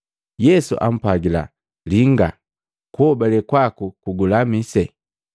Yesu ampwagila, “Linga! Kuhobale kwaku kugulamise.”